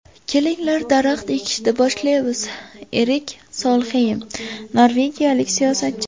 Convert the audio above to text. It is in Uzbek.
Kelinglar daraxt ekishni boshlaymiz”, – Erik Solxeym, norvegiyalik siyosatchi.